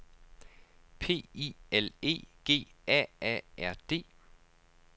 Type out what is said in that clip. P I L E G A A R D